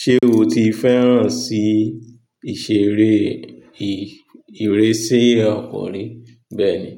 Ṣé o ti fẹ́ràn sí ìṣeré ìrésé ọkọ̀ rí? Bẹ́ẹ̀ ni,